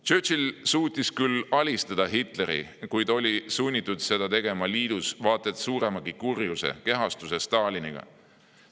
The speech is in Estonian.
Churchill suutis küll alistada Hitleri, kuid oli sunnitud seda tegema liidus vaat et suuremagi kurjuse kehastuse Staliniga.